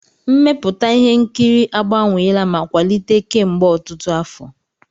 Mmepụta ihe nkiri agbanweela ma kwalite kemgbe ọtụtụ afọ.